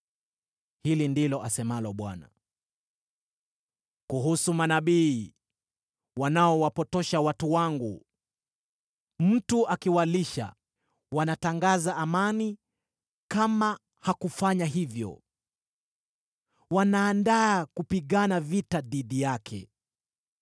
Hili ndilo asemalo Bwana : “Kuhusu manabii wanaowapotosha watu wangu, mtu akiwalisha, wanatangaza ‘amani’; kama hakufanya hivyo, wanaandaa kupigana vita dhidi yake.